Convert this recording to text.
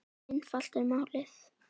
Svo einfalt er málið.